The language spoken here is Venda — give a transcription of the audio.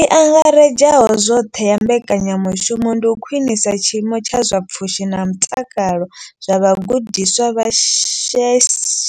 I angaredzaho zwoṱhe ya mbekanyamushumo ndi u khwinisa tshiimo tsha zwa pfushi na mutakalo zwa vhagudiswa vha